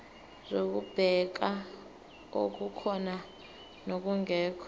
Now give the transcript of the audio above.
zokubheka okukhona nokungekho